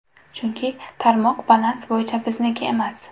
Chunki, tarmoq balans bo‘yicha bizniki emas.